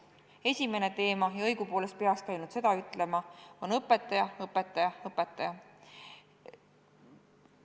Esimene teema – ja õigupoolest peakski ainult sellest rääkima – on õpetaja, õpetaja, õpetaja.